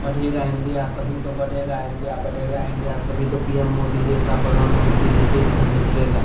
पढ़ेगा इंडिया तभी तो बढ़ेगा इंडिया बढ़ेगा इंडिया तभी तो पी.एम. मोदी जैसा प्रधानमंत्री इस देश में निकलेगा।